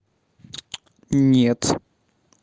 нет